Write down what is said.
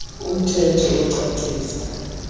um thetho ocacisa